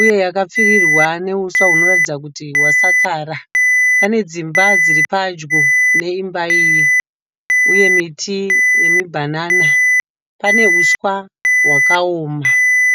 uye yakapfirirwa nehuswa hunoratidza kuti hwasakara. Pane dzimba dziri padyo neimba iyi uye miti yemibanana. Pane huswa hwakaoma.